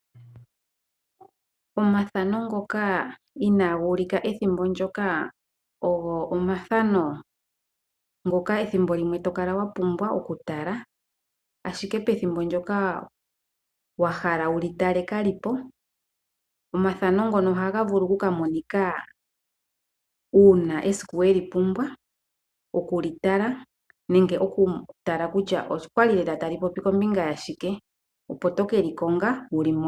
Omathano ngoka iinaguulika ethimbo ndyoka ogo omathano ngoka ethimbo limwe tokala wa pumbwa okutala oshoka pethimbo ndyoka wahala wuli tala kalipo. Omathano ngano ohaga vulu oku ka monika uuna esiku weli pumbwa okulitala opo to keli konga wulimone.